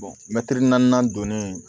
naaninan donnen